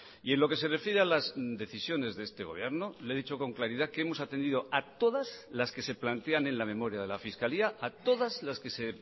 y en lo que se refiere a las decisiones de este gobierno le he dicho con claridad que hemos atendido a todas las que se plantean en la memoria de la fiscalía a todas las que se